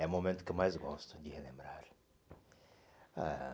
É o momento que eu mais gosto de relembrar. Ah